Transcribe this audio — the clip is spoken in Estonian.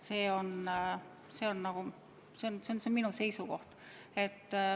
See on minu seisukoht.